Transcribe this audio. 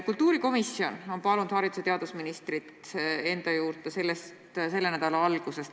Kultuurikomisjon on palunud haridus- ja teadusministrit enda juurde selle nädala alguses.